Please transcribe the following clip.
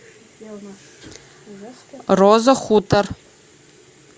роза хутор